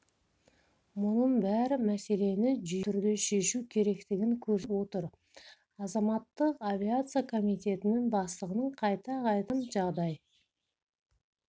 мұның бәрі мәселені жүйелі түрде шешу керектігін көрсетіп отыр азаматтық авиация комитеттінің бастығын қайта-қайта ауыстырғаннан жағдай